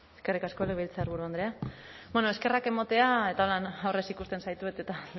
eskerrik asko legebiltzarburu andrea bueno eskerrak emotea eta han aurrez ikusten zaitut eta